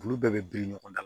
Olu bɛɛ bɛ biri ɲɔgɔn na